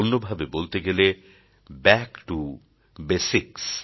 অন্যভাবে বলতে গেলে ব্যাক টো বেসিক্স